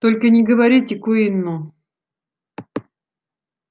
только не говорите куинну